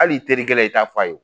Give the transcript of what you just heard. Hal'i teri kɛlɛ i t'a fɔ a ye.